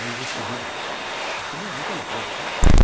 Aí o Juscelino disse, você não é muito elegante, né?